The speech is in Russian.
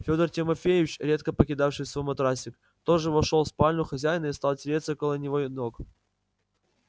федор тимофеич редко покидавший свой матрасик тоже вошёл в спальню хозяина и стал тереться около его ног